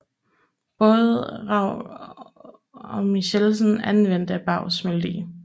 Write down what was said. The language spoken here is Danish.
Både Raug og Michelsen anvendte Bays melodi